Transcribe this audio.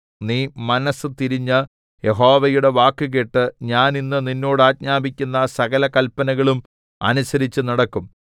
നീ മനസ്സു തിരിഞ്ഞ് യഹോവയുടെ വാക്കുകേട്ട് ഞാൻ ഇന്ന് നിന്നോട് ആജ്ഞാപിക്കുന്ന സകല കല്പനകളും അനുസരിച്ചു നടക്കും